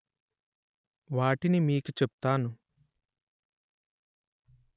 వాటిని మీకు చెప్తాను